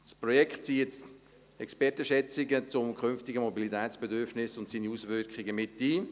Das Projekt bezieht Expertenschätzungen zum künftigen Mobilitätsbedürfnis und dessen Auswirkungen mit ein.